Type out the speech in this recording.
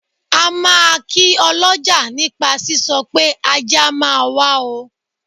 A máa kí ọlọ́jà nípa sísọ pé ajé a máa wá o.